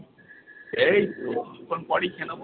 এইতো কিছুক্ষণ পরেই খেয়ে নেবো।